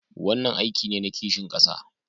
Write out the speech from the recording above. Wannan aiki ne na kishin kasa